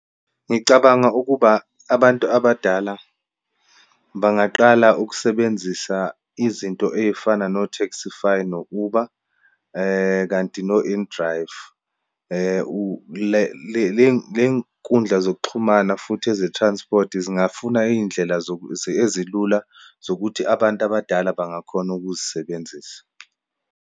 Ngicabanga ukuba, abantu abadala bangaqala ukusebenzisa izinto eyifana no-Taxify, no-Uber, kanti no-inDrive. Ley'nkundla zokuxhumana futhi eze-transport zingafuna iyindlela ezilula zokuthi abantu abadala bangakhona ukuzisebenzisa.